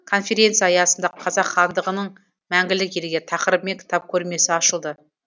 конференция аясында қазақ хандығының мәңгілік елге тақырыбымен кітап көрмесі ашылды